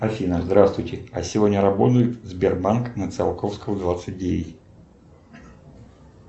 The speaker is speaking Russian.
афина здравствуйте а сегодня работает сбербанк на циалковского двадцать девять